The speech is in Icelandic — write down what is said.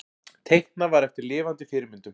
Teiknað var eftir lifandi fyrirmyndum.